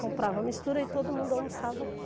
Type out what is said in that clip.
Comprava a mistura e todo mundo almoçava aqui.